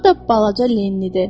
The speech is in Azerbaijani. Bu da balaca Lennidir.